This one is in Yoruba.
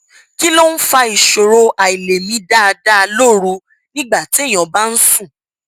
kí ló ń fa ìṣòro àìlèmí dáadáa lóru nígbà téèyàn bá ń sùn